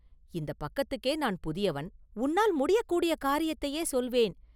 இந்தப் பக்கத்துக்கே நான் புதியவன்.”“உன்னால் முடியக்கூடிய காரியத்தையே சொல்வேன்.